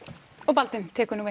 Baldvin tekur nú